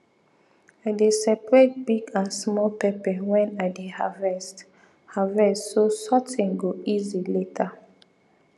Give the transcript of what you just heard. i dey separate big and small pepper when i dey harvest harvest so sorting go easy later